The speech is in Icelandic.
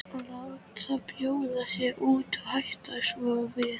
Láta bjóða sér út og hætta svo við.